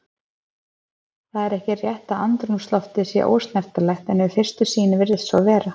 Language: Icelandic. Það er ekki rétt að andrúmsloftið sé ósnertanleg en við fyrstu sýn virðist svo vera.